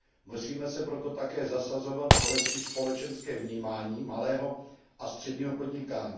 Musíme se proto také zasazovat o lepší společenské vnímání malého a středního podnikání.